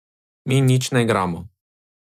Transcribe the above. Mi nič ne igramo.